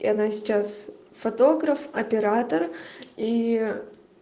и она сейчас фотограф оператор и